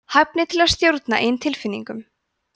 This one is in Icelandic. hæfni til að stjórna eigin tilfinningum